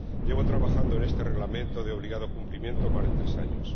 Llevo trabajando en este Reglamento de obligado cumplimiento más de tres años.